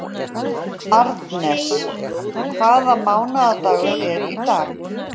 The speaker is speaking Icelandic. Arnes, hvaða mánaðardagur er í dag?